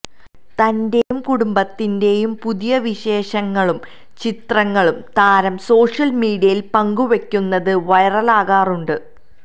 തന്റെയും കുടുംബത്തിന്റെയും പുതിയ വിശേഷങ്ങളും ചിത്രങ്ങളും താരം സോഷ്യൽ മീഡിയയിൽ പങ്കുവയ്ക്കുന്നത് വൈറലാകാറുണ്ട്